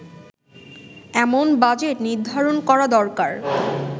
এমন বাজেট নির্ধারণ করা দরকার